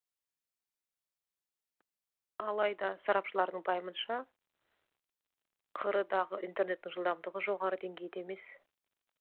алайда сарапшылардың пайымынша қр дағы интернеттің жылдамдығы жоғары деңгейде емес